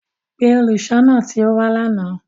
Pe oluṣọọna ti o wa làná!